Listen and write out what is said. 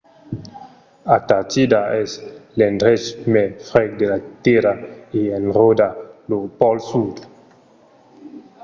antartida es l’endrech mai freg de la tèrra e enròda lo pòl sud